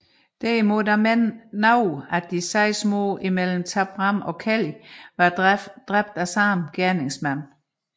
Derimod mener nogle at de seks mord imellem Tabram og Kelly var dræbt af samme gerningsmand